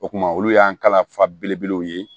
O kuma olu y'an kalan fa belebelew ye